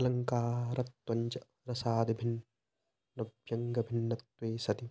अलङ्कारत्वञ्च रसादिभिन्नव्यङ्गयभिन्नत्वे सति